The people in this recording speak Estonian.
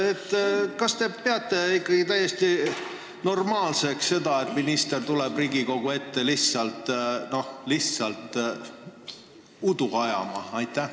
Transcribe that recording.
Kas te peate seda täiesti normaalseks, et minister tuleb Riigikogu ette lihtsalt udu ajama?